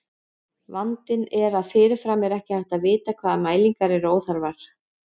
Vandinn er að fyrirfram er ekki hægt að vita hvaða mælingar eru óþarfar.